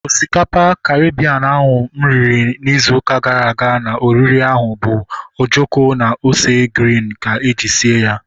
Osikapa Karibien ahụ mụ riri ịzụ ụka gara aga na oriri ahụ bu ojoko na ose griin ka eji sie ya